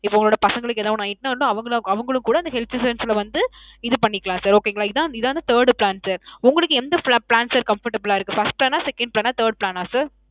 இப்போ உங்களோட பசங்களுக்கு எதோ ஒன்னு ஆயிட்டுனா வந்து ~ அவங்களும் கூட இந்த health insurance ல வந்து இது பண்ணிக்கலாம் sir. okay ங்களா. இதன் third plan sir. உங்களுக்கு எந்த plan sir comfortable ஆ இருக்கு? first plan ஆ second plan ஆ third plan ஆ sir?